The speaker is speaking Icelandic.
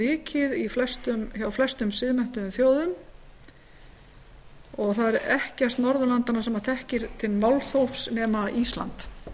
vikið hjá flestum siðmenntuðum þjóðum og það er ekkert norðurlandanna sem þekkir til málþófs nema ísland